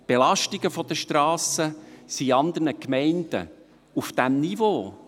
Die Belastungen der Strassen sind in anderen Gemeinden auf diesem Niveau.